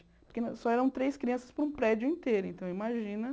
Porque só eram três crianças para um prédio inteiro, então imagina.